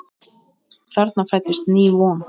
Þarna fæddist ný von.